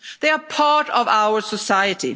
They are part of our society.